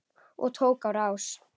Og tók á rás.